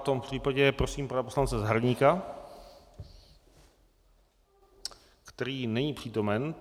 V tom případě prosím pana poslance Zahradníka - který není přítomen.